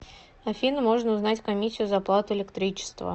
афина можно узнать комиссию за оплату электричества